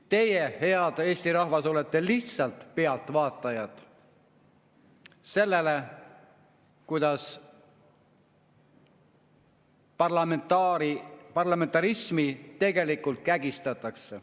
Teie, hea Eesti rahvas, olete lihtsalt pealtvaatajad sellele, kuidas parlamentarismi tegelikult kägistatakse.